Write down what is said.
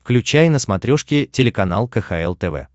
включай на смотрешке телеканал кхл тв